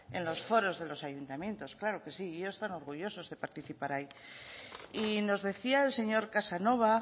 en los foros de los ayuntamientos claro que sí y ellos están orgullosos de participar ahí y nos decía el señor casanova